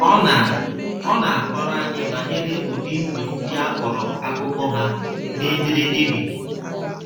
Ọ na Ọ na - akọrọ anyị banyere udi ndụ ndị a kọrọ akụkọ ha na ederede biri